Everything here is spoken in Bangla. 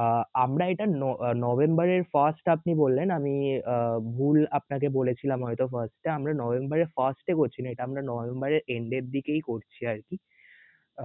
আহ আমরা এটা নভেম্বর এর first আপনি বললেন আমি আহ ভুল আপনাকে বলেছিলাম হয়ত voice টা আমরা নভেম্বর এর first এ করছিনা এটা নভেম্বর এর end এর দিকেই করছি আরকি